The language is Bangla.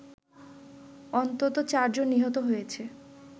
অন্তত চারজন নিহত হয়েছে